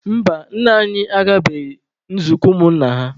Mba, nna anyị agabeghị nzukọ ụmụ nna ha.